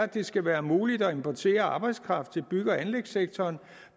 det skal være muligt at importere arbejdskraft i bygge og anlægssektoren